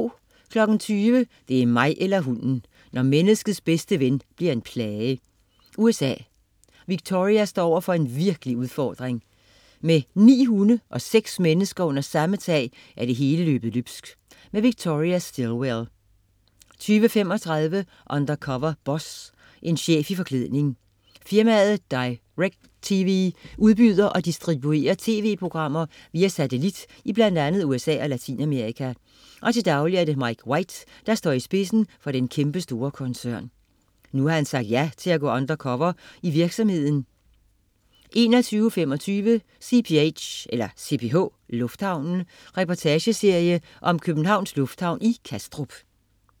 20.00 Det er mig eller hunden! Når menneskets bedste ven bliver en plage. USA. Victoria står over for en vanskelig udfordring. Med ni hunde og seks mennesker under samme tag er det hele løbet løbsk. Victoria Stilwell 20.35 Undercover Boss. En chef i forklædning. Firmaet DirecTV udbyder og distribuerer tv-programmer via satellit i bl.a. USA og Latinamerika, og til daglig er det Mike White, der står i spidsen for den kæmpestore koncern. Nu har han sagt ja til at gå undercover i virksomheden 21.25 CPH, lufthavnen. Reportageserie om Københavns Lufthavn i Kastrup